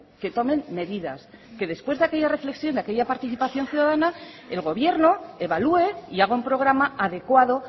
que tomen medidas que después de aquella reflexión de aquella participación ciudadana el gobierno evalúe y haga un programa adecuado